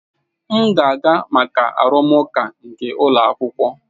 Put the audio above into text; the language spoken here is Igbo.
M ga-aga maka arụmụka nke ụlọ akwụkwọ.